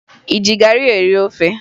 Ị ji garị eri ofe?